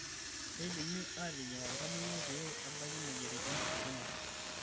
Keidimi aateyieng' oltamoyiai pee ebaki moyiaritin kumok.